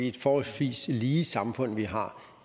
et forholdsvis lige samfund vi har